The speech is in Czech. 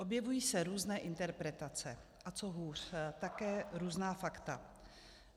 Objevují se různé interpretace, a co hůř, také různá fakta.